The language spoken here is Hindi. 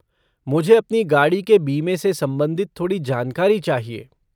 मुझे अपनी गाड़ी के बीमे से संबंधित थोड़ी जानकारी चाहिए।